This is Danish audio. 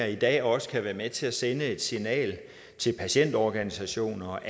i dag også kan være med til at sende et signal til patientorganisationer